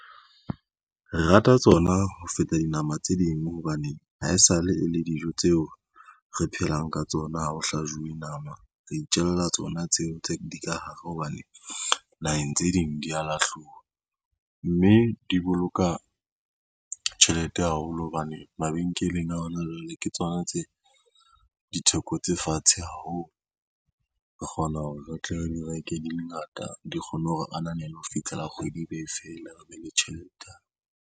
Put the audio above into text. Re rata tsona ho feta dinama tse ding hobane ha esale e le dijo tseo re phelang ka tsona ha ho hlajuwe nama, re itjella tsona tseo tse di ka hare hobane naheng tse ding di a lahluwa, mme di boloka tjhelete haholo hobane mabenkeleng a hona jwale ke tsona tse ditheko tse fatshe haholo. Re kgona hore re tla re di reke di le ngata, di kgonne hore ananela ho fihlela kgwedi e be fela re be le tjhelete hape.